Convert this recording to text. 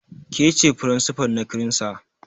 Ka ce principal na kiransa.